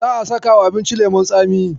Za'a sakawa abincin leman tsami.